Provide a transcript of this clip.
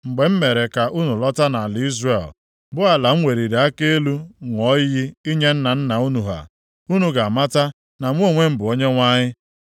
Mgbe m mere ka unu lọta nʼala Izrel, bụ ala ahụ m weliri aka elu ṅụọ iyi inye nna nna unu ha, unu ga-amata na mụ onwe m bụ Onyenwe anyị.